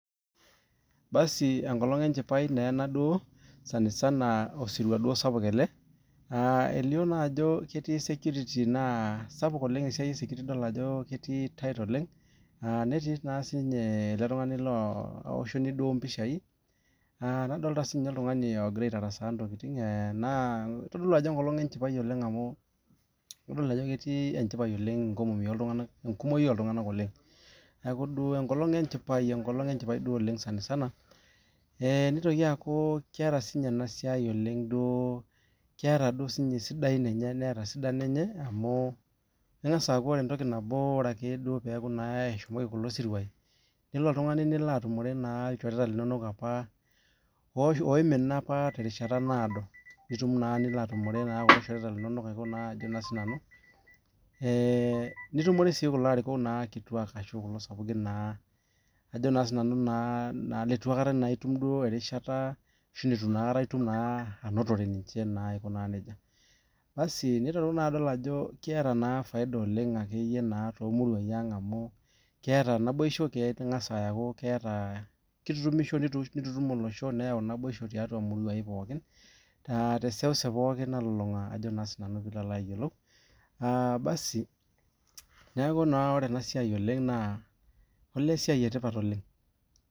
Basi enkolong enchipai naa ena duo, sanisani osirua duo sapuk ale. Eilio naa ajo ketii security naa sapuk oleng esiai esecurity idol ajo ketii, netii naa sii ninye ale tungani loo aoshoni duo lo impishai, nadolita sii ninye ltungani logira aitarasaa intokitin enaa eitodolu ajo enkolong enchipai oleng amuu keitodolu ajo etii enchipai oleng nkumoi oltunganak oleng. Neaku duo enkolong enchipai, enkolong enchipai duo oleng sanisana. Neitoki aaku keeta sii ninye ena siai oleng duo keeta sii duo ninye sidain enye neeta sidai enye amuu engas aaku ore entoki nabo, ore ake duo peaku naa eshomoki kulo siruai, nelo oltungani nilo atumore naa ilchoreta linonok apa oimina apa te rishata naodo, itum naa nilo atumore ilchoreta linono ajo naa nanu. Nitumore sii kulo arikok naa kituak ashu kulo sapukin naa, ajo sii nanu naa leitu aikata itum duo erishata ashu neitu aikata itum naa anotore ninche naa aiko naa neja. Basi neiteru naa adol ajo keeta naa efaida oleng ake iyie naa to muruai aang' naa amu keet naboisho ,kengas aaku keeta ,keitutumisho neitutum olosho, neyau enaibosho tiatua emuruai pookin te seuseu pookin nalulunga ajo naa sii nanu piilo ayiolou, aabasi neaku naa ore ena siai oleng naa olee esiai etipat oleng.